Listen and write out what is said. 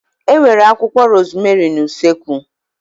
E nwere akwụkwọ rozmerị n'usekwu